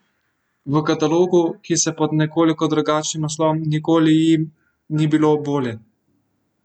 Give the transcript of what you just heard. V katalogu, ki se pod nekoliko drugačnim naslovom Nikoli jim ni bilo bolje?